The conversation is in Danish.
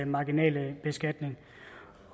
marginale beskatning